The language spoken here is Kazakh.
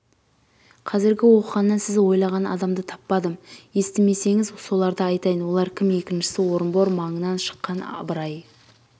қазіргі оқығаннан сіз ойлаған адамды таппадым естімесеңіз соларды айтайын олар кім екіншісі орынбор маңынан шыққан ыбырай